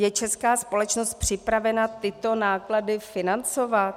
Je česká společnost připravena tyto náklady financovat?